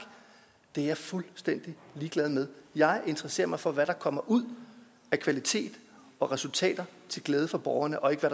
det er jeg fuldstændig ligeglad med jeg interesserer mig for hvad der kommer ud af kvalitet og resultater til glæde for borgerne og ikke for